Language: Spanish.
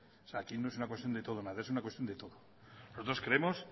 o sea aquí no es una cuestión de todo o nada es una cuestión de todo nosotros creemos